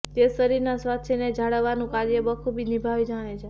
તે શરીરના સ્વાસ્થ્યને જાળવવાનુ કાર્ય બખુબી નિભાવી જાણે છે